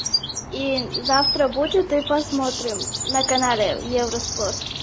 и завтра будет и посмотрим на канале евроспорт